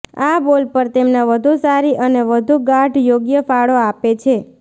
આ બોલ પર તેમના વધુ સારી અને વધુ ગાઢ યોગ્ય ફાળો આપે છે